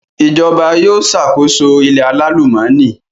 Ìjọba yóò ṣàkóso ilẹ̀ alálùmọ́nì